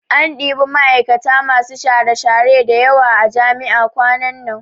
An ɗibi ma'aikata masu share-share da yawa a jami'a kwanan nan